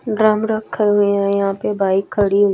drum रखे हुए है यहां पे बाइक खड़ी हुई--